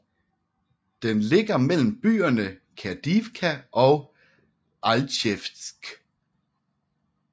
Den ligger mellem byerne Kadiivka og Alchevsk